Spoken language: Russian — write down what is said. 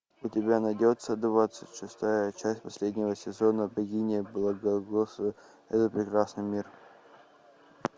у тебя найдется двадцать шестая часть последнего сезона богиня благословляет этот прекрасный мир